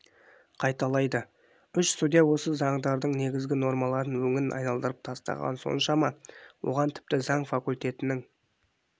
қайталайды үш судья осы заңдардың негізгі нормаларын өңін айналдырып тастағаны соншама оған тіпті заң факультетінің